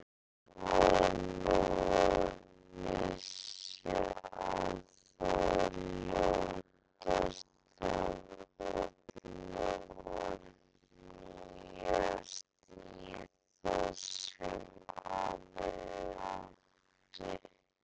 Lóa-Lóa vissi að það ljótasta af öllu var að hnýsast í það sem aðrir áttu.